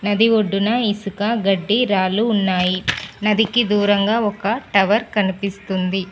నది ఒడ్డున ఇసుక గడ్డి రాళ్ళు ఉన్నాయి నదికి దూరంగా ఒక టవర్ కనిపిస్తుంది.